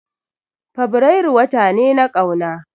Fabrairu wata ne na ƙauna